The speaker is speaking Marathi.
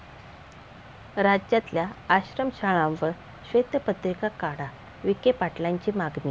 राज्यातल्या आश्रमशाळांवर श्वेतपत्रिका काढा, विखे पाटलांची मागणी